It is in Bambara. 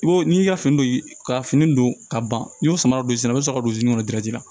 I b'o n'i y'i ka fini don ka fini don ka ban n'i y'o sama don i sen na i bi sɔrɔ ka don min na